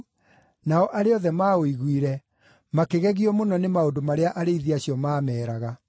nao arĩa othe maũiguire makĩgegio mũno nĩ maũndũ marĩa arĩithi acio maameeraga.